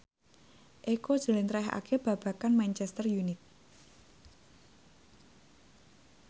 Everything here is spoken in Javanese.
Eko njlentrehake babagan Manchester united